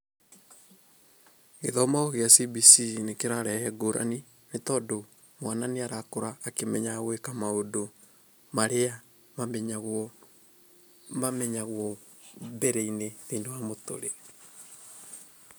Gĩthomo kĩa CBC nĩkĩrarehe ngũrani nĩ tondũ mwana nĩarakũra akĩmenyaga gwĩka maũndũ marĩa mamenyagwo mamenyagwo mbere-inĩ thĩ-inĩ wa mũtũrĩre.